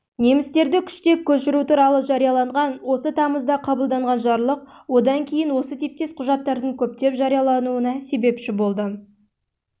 немістерді күштеп көшіру туралы жарияланған осы тамызда қабылданған жарлық одан кейін осы типтес құжаттардың көптеп жариялануына